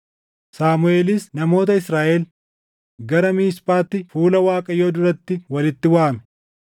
Saamuʼeelis namoota Israaʼel gara Miisphaatti fuula Waaqayyoo duratti walitti waamee